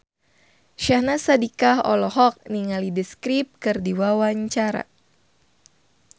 Syahnaz Sadiqah olohok ningali The Script keur diwawancara